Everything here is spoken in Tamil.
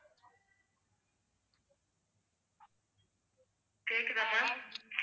கேக்குதா ma'am